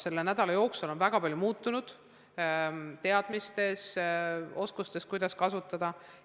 Selle nädala jooksul on väga palju muutunud teadmistes, oskustes, kuidas midagi kasutada.